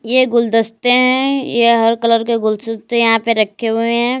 ये गुलदस्ते हैं यह हर कलर के गुलदस्ते यहां पे रखे हुए हैं।